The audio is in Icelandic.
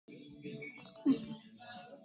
Hvaða ár eru þeir fæddir?